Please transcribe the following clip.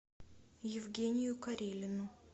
евгению карелину